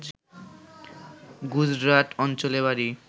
গুজরাট অঞ্চলে বাড়ি